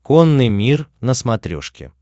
конный мир на смотрешке